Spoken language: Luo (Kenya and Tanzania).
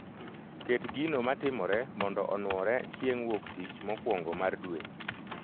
Ket gino matimore mondo onwore chieng' wuoktich mokwongo mar dwe